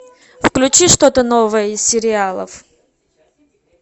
включи что то новое из сериалов